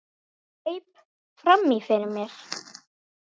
Greip fram í fyrir mér.